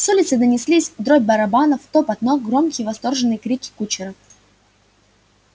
с улицы донеслись дробь барабанов топот ног громкие восторженные крики кучеров